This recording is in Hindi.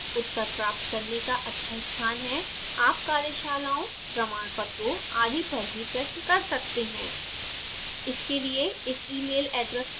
यह latex पर उत्तर प्राप्त करने का अच्छा स्थान है आप कार्यशालाओं प्रमाणपत्रों आदि पर भी प्रश्न कर सके हैं